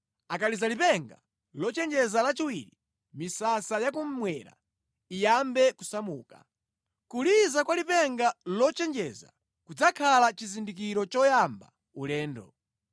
Akaliza lipenga lochenjeza lachiwiri, misasa yakummwera iyambe kusamuka. Kuliza kwa lipenga lochenjeza kudzakhala chizindikiro choyamba ulendo.